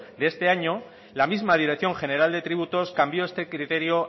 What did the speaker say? de este año la misma dirección general de tributos cambió este criterio